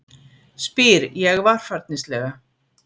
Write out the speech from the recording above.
spyr ég varfærnislega.